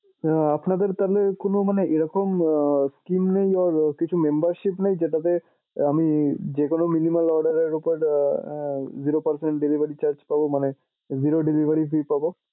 তা আপনাদের তাহলে কোনো মানে এরকম আহ sceem নেই or কিছু membership নেই যেটাতে আমি যেকোনো minimum order এর উপর আহ zero percent delivery charge পাবো মানে zero delivery fee পাবো?